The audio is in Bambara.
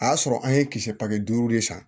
A y'a sɔrɔ an ye kisɛ pake duuru de san